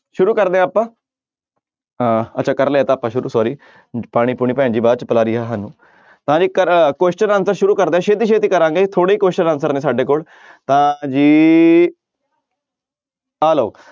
ਸ਼ੁਰੂ ਕਰਦੇ ਹਾਂ ਆਪਾਂ ਅਹ ਅੱਛਾ ਕਰ ਲਿਆ ਇਹ ਤਾਂ ਆਪਾਂ ਸ਼ੁਰੂ sorry ਪਾਣੀ ਪੂਣੀ ਭੈਣ ਜੀ ਬਾਅਦ 'ਚ ਪਿਲਾ ਰਹੀ ਆ ਸਾਨੂੰ ਤਾਂ ਜੀ ਕਰ question answer ਸ਼ੁਰੂ ਕਰਦੇ ਹਾਂ ਛੇਤੀ ਛੇਤੀ ਕਰਾਂਗੇ ਥੋੜ੍ਹੇ ਹੀ question answer ਨੇ ਸਾਡੇ ਕੋਲ ਤਾਂ ਜੀ ਆਹ ਲਓ